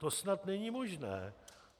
To snad není možné.